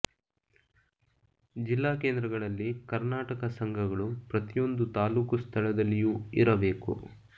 ಜಿಲ್ಲಾ ಕೇಂದ್ರಗಳಲ್ಲಿ ಕರ್ಣಾಟಕ ಸಂಘಗಳು ಪ್ರತಿಯೊಂದು ತಾಲ್ಲೂಕು ಸ್ಥಳದಲ್ಲಿಯೂ ಇರಬೇಕು